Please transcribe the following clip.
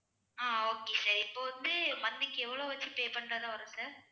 ஆஹ் okay sir இப்ப வந்து monthly க்கு எவ்வளவு வச்சு pay பண்ணறதும் இருக்கு